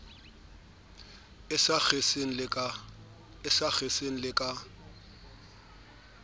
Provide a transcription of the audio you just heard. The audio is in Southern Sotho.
e sa kgeseng le ka